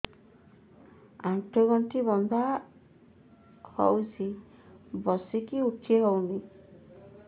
ଆଣ୍ଠୁ ଗଣ୍ଠି ବିନ୍ଧା ହଉଚି ବସିକି ଉଠି ହଉନି